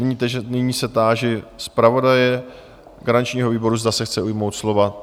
Nyní se táži zpravodaje garančního výboru, zda se chce ujmout slova?